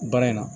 Baara in na